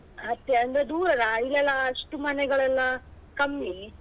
ಅಂದ್ರೆ ದೂರ ಅಲ್ಲ ಅಲ್ಲಿ ಎಲ್ಲ ಅಷ್ಟು ಮನೆಗಳೆಲ್ಲ ಕಮ್ಮಿ.